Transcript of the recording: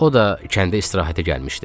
O da kəndə istirahətə gəlmişdi.